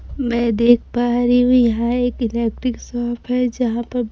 मैं देख पा रही हूं यहां एक इलेक्ट्रिक शॉप है जहां पर--